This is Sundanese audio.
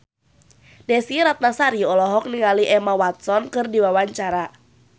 Desy Ratnasari olohok ningali Emma Watson keur diwawancara